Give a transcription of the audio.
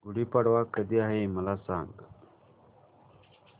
गुढी पाडवा कधी आहे मला सांग